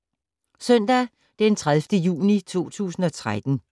Søndag d. 30. juni 2013